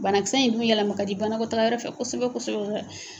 Banakisɛ in dun yɛlɛma ka di banako taa yɔrɔfɛ kosɛbɛ kosobɛ kosɛbɛ